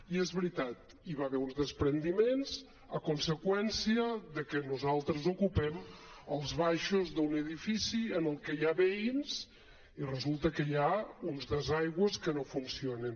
i és veritat hi va haver uns despreniments a conseqüència de que nosaltres ocupem els baixos d’un edifici en el que hi ha veïns i resulta que hi ha uns desaigües que no funcionen